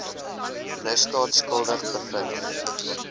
misdaad skuldig bevind